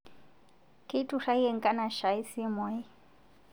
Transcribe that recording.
Keiturayie nkanashai simuai